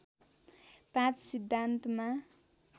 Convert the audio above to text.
पाँच सिद्धान्तमा